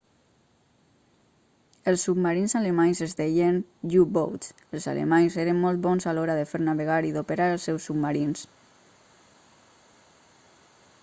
els submarins alemanys es deien u-boats els alemanys eren molt bons a l'hora de fer navegar i d'operar els seus submarins